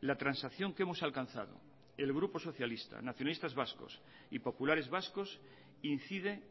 la transacción que hemos alcanzado el grupo socialista nacionalistas vascos y populares vascos incide